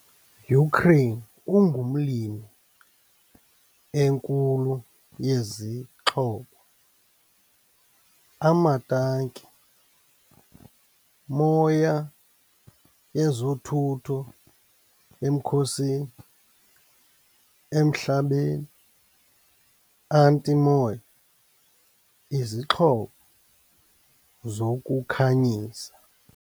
Ukraine ungumlimi enkulu yezixhobo - amatanki, moya yezothutho emkhosini, emhlabeni- anti-moya, izixhobo zokukhanyisa.